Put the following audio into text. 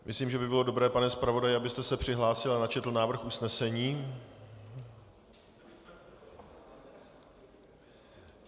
Myslím, že by bylo dobré, pane zpravodaji, kdybyste se přihlásil a načetl návrh usnesení.